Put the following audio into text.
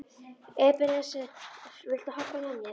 Ebeneser, viltu hoppa með mér?